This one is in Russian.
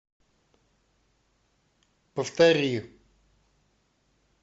повтори